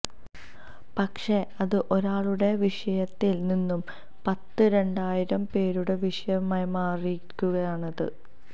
പക്ഷേ അത് ഒരാളുടെ വിഷയത്തില് നിന്നും പത്ത് രണ്ടായിരം പേരുടെ വിഷയമായി മാറിയിരിക്കുകയാണിത്